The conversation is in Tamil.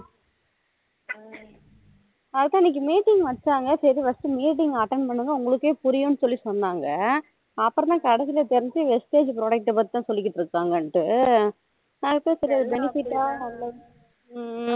அதுதான் இன்னைக்கு meeting வச்சாங்க சரி first meeting attend பண்ணனும் உங்களுக்கே புரியும்னு சொல்லி சொன்னாங்க அப்போ தான் கடைசில தெரிஞ்சது vistage product பத்திதான் சொல்லிட்டு இருக்காங்கணுட்டு நா அதுக்குதான் சரி benefit ஆ